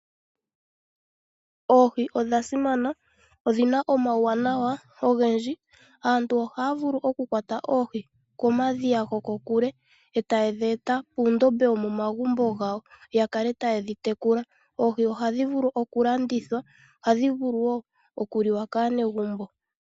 Oohi odha simana, odhina omawuwanawa ogendji. Aantu ohaavulu oku kwata oohi komadhiya gokokule etaadhi eta puundombe wopomagumbo gawo ya kale tayedhi tekula. Oohi ohadhi vulu okulandithwa ,ohadhi vulu wo okuliwa kaanegumbo.